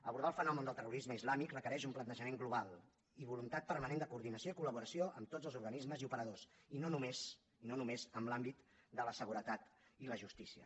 abordar el fenomen del terrorisme islàmic requereix un plantejament global i voluntat permanent de coordinació i colamb tots els organismes i operadors i no només no només en l’àmbit de la seguretat i la justícia